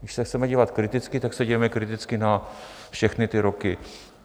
Když se chceme dívat kriticky, tak se dívejme kriticky na všechny ty roky.